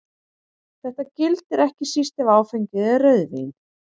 Þetta gildir ekki síst ef áfengið er rauðvín.